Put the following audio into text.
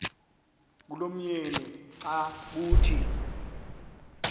kulomyeni xa kuthi